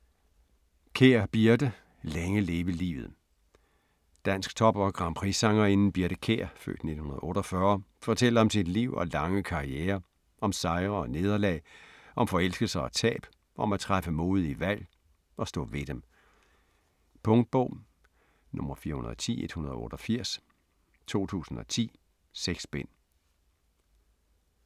Kjær, Birthe: Længe leve livet Dansktop- og grandprixsangerinden Birthe Kjær (f. 1948) fortæller om sit liv og lange karriere - om sejre og nederlag, om forelskelser og tab, om at træffe modige valg - og stå ved dem. Punktbog 410188 2010. 6 bind.